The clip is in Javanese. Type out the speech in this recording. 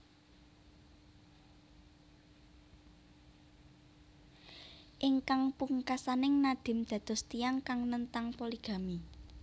Ingkang pungkasaning Nadim dados tiyang kang nentang poligami